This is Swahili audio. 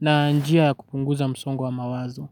na njia kupunguza msongo wa mawazo.